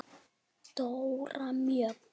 Dóra Mjöll.